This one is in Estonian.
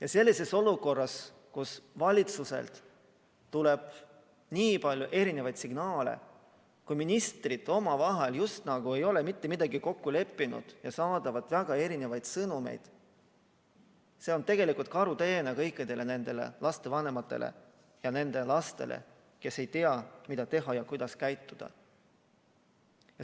Aga selline olukord, kus valitsuselt tuleb nii palju eri signaale, ministrid just nagu ei ole omavahel mitte midagi kokku leppinud ja saadavad väga erinevaid sõnumeid, on tegelikult karuteene kõikidele nendele lapsevanematele ja nende lastele, kes ei tea, mida teha ja kuidas käituda.